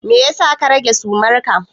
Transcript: Me yasa ka rage sumarka?